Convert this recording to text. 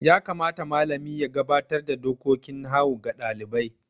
Ya kamata malami ya gabatar da dokokin nahawu ga ɗalibai?